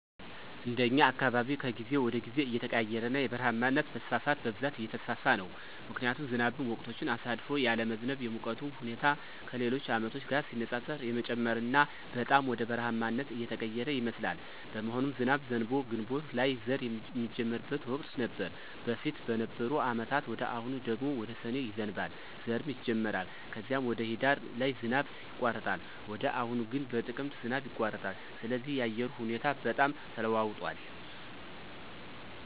እንደኛ አካባቢ ከጊዜ ወደ ጊዜ እየተቀያየረና የበረሃማነት መስፋፋት በብዛት እየተስፋፋ ነው ምክንያቱም ዝናብም ወቅቶችን አሳልፎ ያለመዝነብ፣ የሙቀቱም ሁኔታ ከሌሎች አመቶች ጋር ሲነፃፀር የመጨመርና በጣም ወደ በረሐማነት እየተቀየረ ይመስላል። በመሆኑም ዝናብ ዘንቦ ግንቦት ላይ ዘር ሚጀመርበት ወቅት ነበር በፊት በነበሩ አመታት ወደ አሁኑ ደግሞ ወደ ሰኔ ይዘንባል ዘርም ይጀመራል ከዚም ወደ ሂዳር ላይ ዝናብ ይቋረጣል ወደ አሁኑ ግን በጥቅምት ዝናብ ይቋረጣል ስለዚህ የአየሩ ሁኔታ በጣም ተለዋውጧል